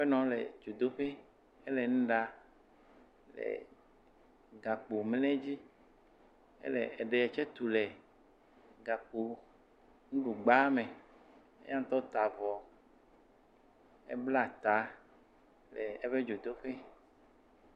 Aƒenɔa le dzodoƒee. Ele nu ɖaa. Ee gakpomle dzi. Ele ede tse tu le gakponuɖugba me. Eya ŋtɔ ta avɔ, ebla ta le eƒe dzodzo ƒee.